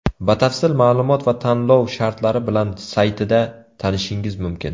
Batafsil ma’lumot va tanlov shartlari bilan saytida tanishishingiz mumkin.